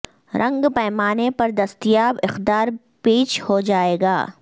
رنگ پیمانے پر دستیاب اقدار پییچ ہو جائے گا